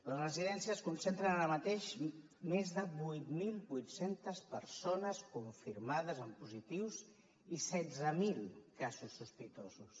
les residències concentren ara mateix més de vuit mil vuit cents persones confirmades amb positius i setze mil casos sospitosos